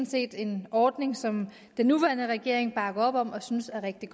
set en ordning som den nuværende regering bakker op om og synes er rigtig